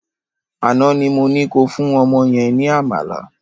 Àná ni mo ní ko fún ọmọ yẹn ní àmàlà